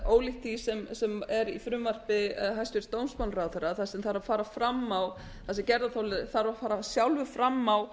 ólíkt því sem er í frumvarpi hæstvirts dómsmálaráðherra þar sem gerðarþoli þarf að fara sjálfur fram á